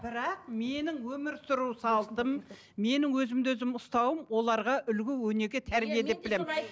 бірақ менің өмір сүру салтым менің өзімді өзім ұстауым оларға үлгі өнеге тәрбие деп білемін